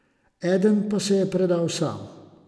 Eden pa se je predal sam.